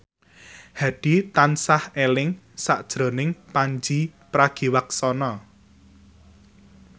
Hadi tansah eling sakjroning Pandji Pragiwaksono